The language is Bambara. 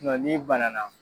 Nka n'i bana na!